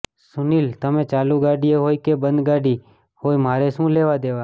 સુનિલ ઃ તમે ચાલુ ગાડીએ હોય કે બંધ ગાડી હોય મારે શુ લેવાદેવા